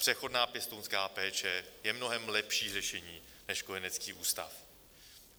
Přechodná pěstounská péče je mnohem lepší řešení než kojenecký ústav.